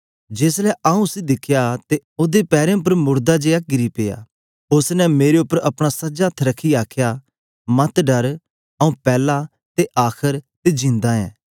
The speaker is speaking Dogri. जेस ले आऊँ उसी दिखया ते ओदे पैरें उपर मुड़दा जेया किरी पेया उस्स ने मेरे उपर अपना सज्जा हत्थ रखियै आखया मत डर आऊँ पैला ते आखर ते जिंदा ऐं